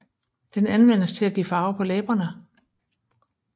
Den anvendes til at give farve på læberne